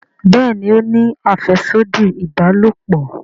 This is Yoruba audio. Béèni o ní afẹsodi ìbálòpọ̀.